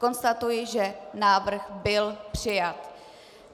Konstatuji, že návrh byl přijat.